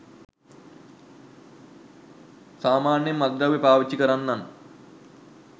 සාමාන්‍යයෙන් මත්ද්‍රව්‍ය පාවිච්චි කරන්නන්